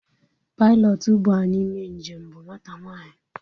Pailọtụ buu anyị mee njem bụ nwata nwanyi